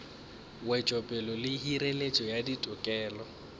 wetšopele le hireletšo ya ditokelo